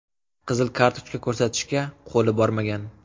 Qizil kartochka ko‘rsatishga qo‘li bormagan.